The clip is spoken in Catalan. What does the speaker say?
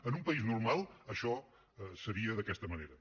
en un país normal això seria d’aquesta manera